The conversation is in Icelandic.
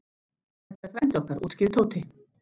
Þetta er frændi okkar útskýrði Tóti.